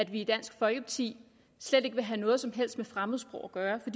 vi i dansk folkeparti slet ikke vil have noget som helst med fremmedsprog at gøre for